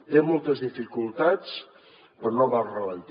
té moltes dificultats però no va al ralentí